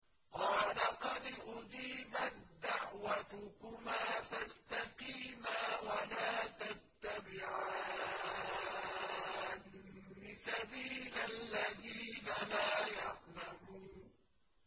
قَالَ قَدْ أُجِيبَت دَّعْوَتُكُمَا فَاسْتَقِيمَا وَلَا تَتَّبِعَانِّ سَبِيلَ الَّذِينَ لَا يَعْلَمُونَ